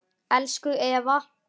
Elsku Eva